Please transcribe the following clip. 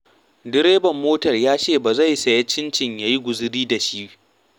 Direban motar ya ce ba zai ya sayi cincin ya yi guzuri da shi.